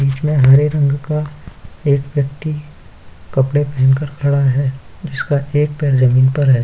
बीच में हरे रंग का एक व्यक्ति कपड़े पेहेन कर खड़ा है जिसका एक पैर ज़मीन पर है।